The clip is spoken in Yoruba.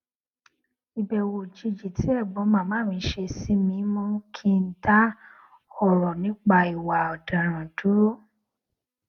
ìbèwò òjijì tí ègbón màmá mi ṣe sí mi mú kí n dá òrò nípa ìwà òdaràn dúró